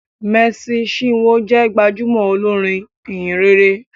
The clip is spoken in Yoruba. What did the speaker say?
Mercy chinwo jé gbajúmò olorin ìhìnrere